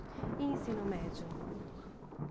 E ensino médio?